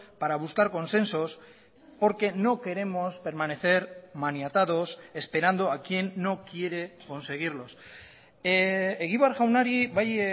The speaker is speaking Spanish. para buscar consensos porque no queremos permanecer maniatados esperando a quien no quiere conseguirlos egibar jaunari bai